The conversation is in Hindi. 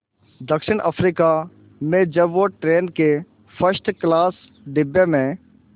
दक्षिण अफ्रीका में जब वो ट्रेन के फर्स्ट क्लास डिब्बे में